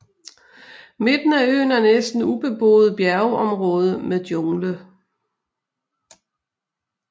Midten af øen er næsten ubeboet bjergområde med jungle